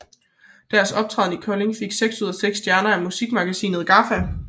Deres optræden i Kolding fik seks ud af seks stjerner i musikmagasinet GAFFA